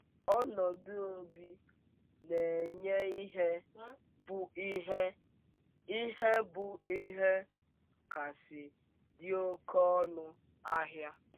Ọnọdụ obi onye na - enye ihe bụ ihe ihe bụ ihe kasị dị oké ọnụ ahịa.